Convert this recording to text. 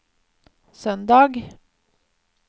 søndag